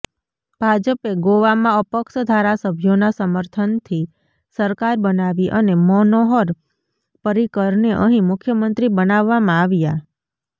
ભાજપે ગોવામાં અપક્ષ ધારાસભ્યોના સમર્થનથી સરકાર બનાવી અને મનોહર પર્રિકરને અહીં મુખ્યમંત્રી બનાવવામાં આવ્યા